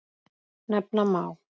Nefna má